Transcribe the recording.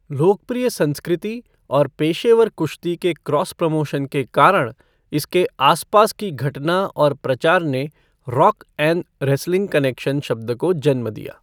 लोकप्रिय संस्कृति और पेशेवर कुश्ती के क्रॉस प्रमोशन के कारण, इसके आसपास की घटना और प्रचार ने रॉक 'एन' रेसलिंग कनेक्शन शब्द को जन्म दिया।